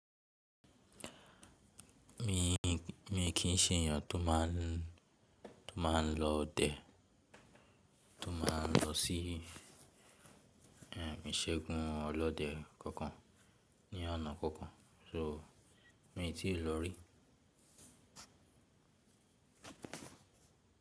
Mi kì í ṣe ènìyàn tó máa ń lọ ọdẹ, tó máa ń lọ sí ìṣègùn ọlọ́dẹ kankan ní ọ̀nà kankan, so mi tíì lọ rí.